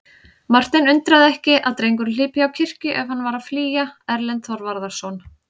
Martein undraði ekki að drengurinn hlypi á kirkju ef hann var að flýja Erlend Þorvarðarson.